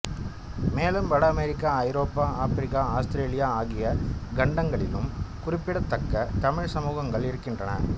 மேலும் வட அமெரிக்கா ஐரோப்பா ஆப்பிரிக்கா ஆஸ்திரேலியா ஆகிய கண்டங்களிலும் குறிப்பிடத்தக்க தமிழ்ச் சமூகங்கள் இருக்கின்றன